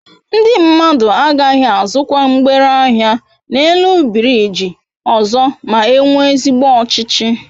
Ndi mmadu agaghi azukwa mgbere ahia n'elu biriji ọzọ ma enwe ezigbo ọchịchị